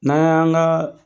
N'an yan ka